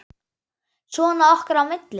Svona okkar á milli.